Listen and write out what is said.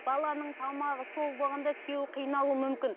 баланың тамағы сол болғанда күйеуі қиналуы мүмкін